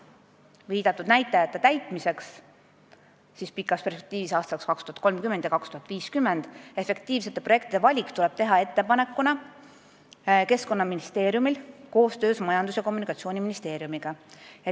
Viidatud näitajatega seotud eesmärkide täitmiseks pikas perspektiivis, aastateks 2030 ja 2050, tuleb efektiivsete projektide valiku ettepanek teha Keskkonnaministeeriumil koostöös Majandus- ja Kommunikatsiooniministeeriumiga.